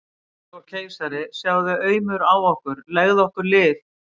Faðir okkar og keisari, sjáðu aumur á okkur, legðu okkur lið!